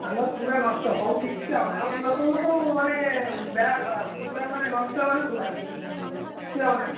ଆମର ପୁରା ନଷ୍ଟ ସବୁ କିଛି ଆଉ ନାହି ଆମ ଲୋକଙ୍କୁ ସବୁ ମାନେ ବେଳା ଖରାପ ପୁରା ମାନେ ନଷ୍ଟ ମାନେ ପୁରା କିଛିଆଉ ନାହି।